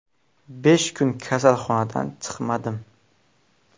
Besh kun kasalxonadan chiqmadim.